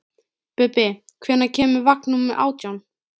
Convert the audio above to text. Bubbi, hvenær kemur vagn númer átján?